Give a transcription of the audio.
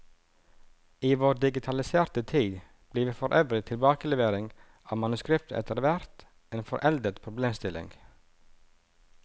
I vår digitaliserte tid blir for øvrig tilbakelevering av manuskripter etter hvert en foreldet problemstilling.